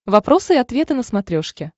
вопросы и ответы на смотрешке